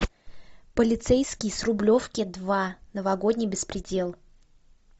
полицейский с рублевки два новогодний беспредел